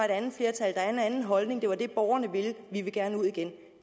andet flertal der er en anden holdning det var det borgerne ville vi vil gerne ud igen